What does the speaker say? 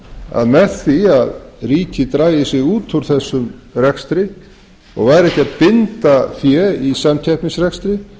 að með því að ríkið drægi sig út á þessum rekstri og væri ekki að binda fé í samkeppnisrekstri